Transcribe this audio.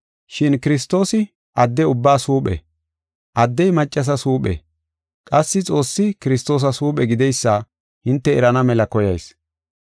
Shin Kiristoosi adde ubbaas huuphe, addey maccasas huuphe, qassi Xoossi Kiristoosas huuphe gideysa hinte erana mela koyayis.